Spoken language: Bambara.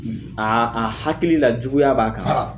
Aa a hakili la juguya b'a kan .